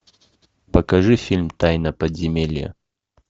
покажи фильм тайна подземелья